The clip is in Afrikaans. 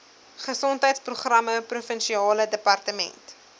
gesondheidsprogramme provinsiale departement